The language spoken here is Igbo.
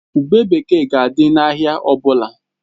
Ube bekee ga-adị n'ahịa ọ bụla